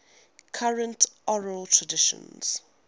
current oral traditions